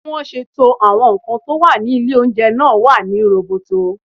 Bí wọ́n ṣe to àwọn nǹkan tó wà ní ilé oúnjẹ náà lọ́nà tó rí roboto